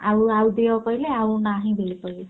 ଆଉ ଆଉ ଦିଅ କହିଲେ ଆଉ ନାହିଁ ବୋଲି କହୁ~